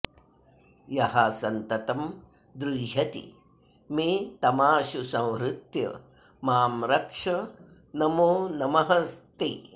यः सन्ततं द्रुह्यति मे तमाशु संहृत्य मां रक्ष नमो नमस्ते